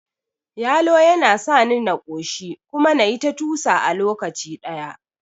Yalo yana sani na ƙoshi kuma nayi ta tusa a lokaci ɗaya